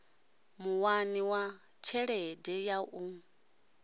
muwani wa tshelede ya u